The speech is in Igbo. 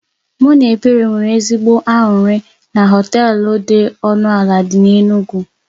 Mụ na Ebere nwere ezigbo anụrị na họtel dị ọnụ ala dị n'Enugwu